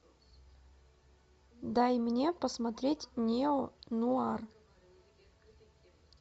дай мне посмотреть нео нуар